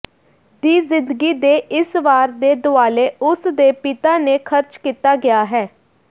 ਦੀ ਜ਼ਿੰਦਗੀ ਦੇ ਇਸ ਵਾਰ ਦੇ ਦੁਆਲੇ ਉਸ ਦੇ ਪਿਤਾ ਨੇ ਖਰਚ ਕੀਤਾ ਗਿਆ ਹੈ